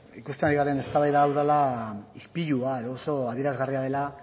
ikusten ari garen eztabaida hau dela ispilua edo oso adierazgarria dela